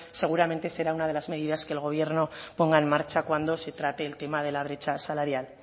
seguramente será una de las medidas que el gobierno ponga en marcha cuando se trate el tema de la brecha salarial